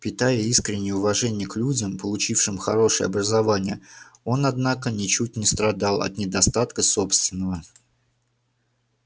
питая искреннее уважение к людям получившим хорошее образование он однако ничуть не страдал от недостатка собственного